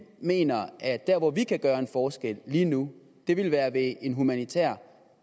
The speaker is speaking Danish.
mener at der hvor vi kan gøre en forskel lige nu ville være ved at en humanitær